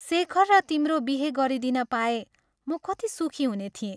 शेखर र तिम्रो बिहे गरिदिन पाए म कति सुखी हुने थिएँ।